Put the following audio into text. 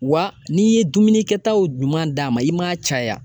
Wa n'i ye dumuni kɛtaw ɲuman d'a ma i m'a caya